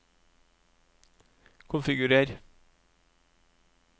konfigurer